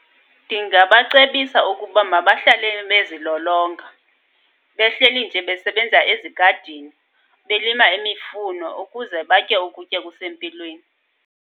Ndingabacebisa ukuba mabahlale bezilolonga. Behleli nje besebenza ezigadini, belima imifuno ukuze batye ukutya okusempilweni.